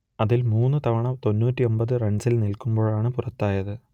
അതിൽ മൂന്ന് തവണ തൊണ്ണൂറ്റിയൊമ്പത് റൺസിൽ നിൽക്കുമ്പോഴാണ് പുറത്തായത്